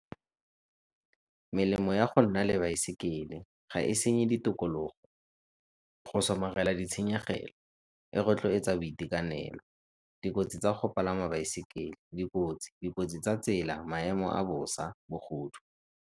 Melemo ya go nna le baesekele ga e senye ditokologo, go somarela ditshenyegelo, e rotloetsa boitekanelo. Dikotsi tsa go palama baesekele, dikotsi, maemo a bosa, bogodu.